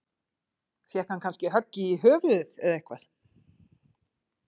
Fékk hann kannski högg í höfuðið eða eitthvað?